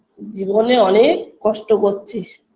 জীবনে অনেক কষ্ট কচ্ছি